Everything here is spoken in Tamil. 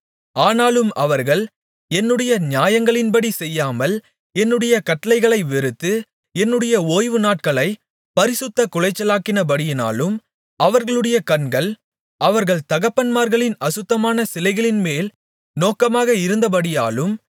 ஆனாலும் அவர்கள் என்னுடைய நியாயங்களின்படி செய்யாமல் என்னுடைய கட்டளைகளை வெறுத்து என்னுடைய ஓய்வு நாட்களைப் பரிசுத்தக் குலைச்சலாக்கினபடியாலும் அவர்களுடைய கண்கள் அவர்கள் தகப்பன்மார்களின் அசுத்தமான சிலைகளின்மேல் நோக்கமாக இருந்தபடியாலும்